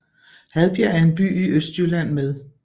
Hadbjerg er en by i Østjylland med